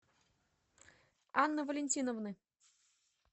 анны валентиновны